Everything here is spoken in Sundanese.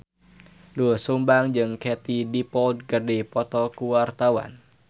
Doel Sumbang jeung Katie Dippold keur dipoto ku wartawan